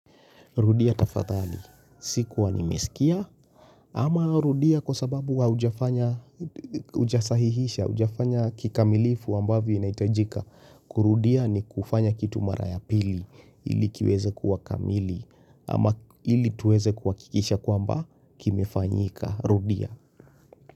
Rudia tafadhali, sikua nimesikia, ama rudia kwa sababu wa ujafanya, ujasahihisha, ujafanya kikamilifu ambavyo inaitajika. Kurudia ni kufanya kitu mara ya pili, ili kiweze kuwa kamili, ama ili tuweze kuwakikisha kwamba kimefanyika. Rudia.